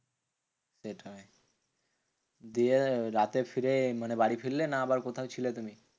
সেটাই, দিয়ে রাতে ফিরে মানে বাড়ি ফিরলে না আবার কোথাও ছিলে তুমি?